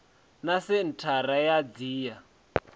na senthara ya dti ya